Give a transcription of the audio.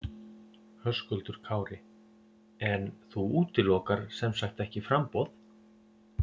Höskuldur Kári: En þú útilokar sem sagt ekki framboð?